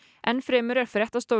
enn fremur er fréttastofu